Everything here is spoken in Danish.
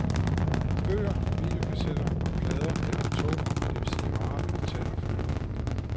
Bøger, videokassetter og plader er atomer, det vil sige varer, man kan tage og føle på.